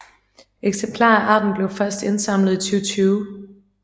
Eksemplarer af arten blev først indsamlet i 2020